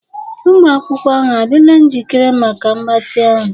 Ụmụ akwụkwọ ahụ adịla njikere maka mgbatị ahụ?